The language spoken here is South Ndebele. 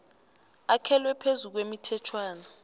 akhelwe phezu kwemithetjhwana